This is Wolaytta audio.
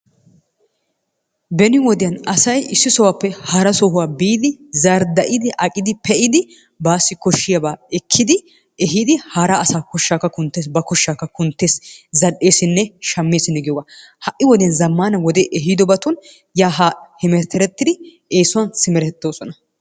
Beni wodiyan asay issi sohuwappe hara sohuwa biidi zarida'idi aqqidi pe'idi baassi koshshiyaaba ekkidi ehiidi hara asa koshshaakka kunttees, ba koshshakka kunttees. zal''eessinne shameessinne giyogaa ha'i wode zammana wode ehidobatun yaa haa hemeterettidi eessuwan simeretoosona.